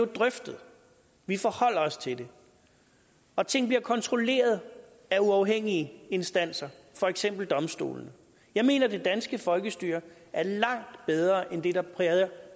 drøftet og vi forholder os til det og ting bliver kontrolleret af uafhængige instanser for eksempel domstolene jeg mener at det danske folkestyre er langt bedre end det der